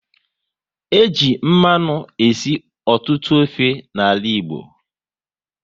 E ji mmanụ esi ọtụtụ ofe n'ala Igbo